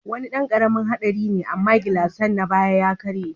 Wani dan karamin hadari ne amma gilasnsa na baya ya karye.